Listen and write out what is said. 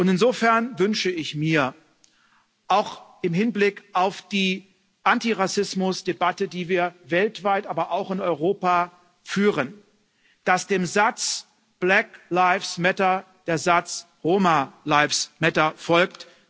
Insofern wünsche ich mir, auch im Hinblick auf die Antirassismus Debatte, die wir weltweit, aber auch in Europa führen, dass dem Satz Black lives matter der Satz Roma lives matter folgt.